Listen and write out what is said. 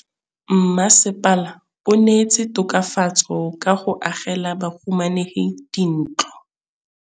Mmasepala o neetse tokafatsô ka go agela bahumanegi dintlo.